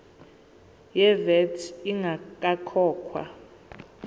ye vat ingakakhokhwa